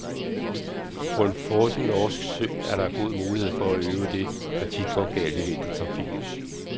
På en frossen norsk sø er der god mulighed for at øve det, der tit går galt i vintertrafikken.